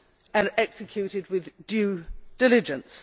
and executed with due diligence.